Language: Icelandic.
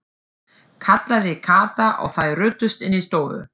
kallaði Kata og þær ruddust inn í stofu.